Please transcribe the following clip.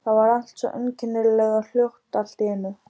Það var allt svo einkennilega hljótt allt í einu.